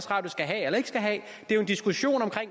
radio skal have eller ikke skal have det er en diskussion om